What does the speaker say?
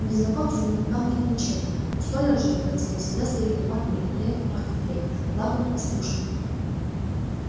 у незнакомца не пахнет ничем у столяра же в квартире всегда стоит туман и великолепно пахнет клеем лаком и стружками